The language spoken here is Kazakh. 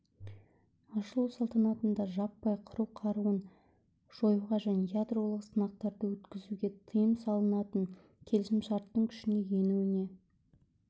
ашылу салтанатында жаппай қыру қаруын жоюға және ядролық сынақтарды өткізуге тиым салатын келісімшарттың күшіне енуіне